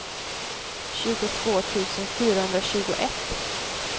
tjugotvå tusen fyrahundratjugoett